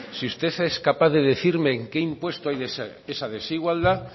si usted es capaz de decirme en qué impuesto hay esa desigualdad